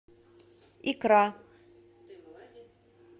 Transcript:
икра